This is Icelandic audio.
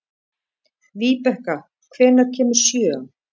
Víbekka, hvenær kemur sjöan?